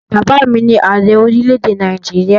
Bàbá mi ni Ààrẹ orílẹ̀èdè Nàìjíríà